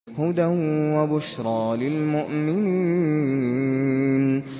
هُدًى وَبُشْرَىٰ لِلْمُؤْمِنِينَ